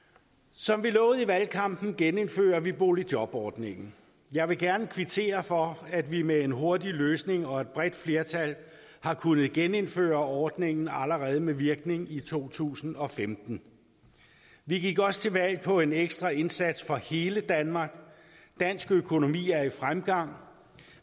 som vi lovede i valgkampen genindfører vi boligjobordningen jeg vil gerne kvittere for at vi med en hurtig løsning og et bredt flertal har kunnet genindføre ordningen allerede med virkning i to tusind og femten vi gik også til valg på en ekstra indsats for hele danmark dansk økonomi er i fremgang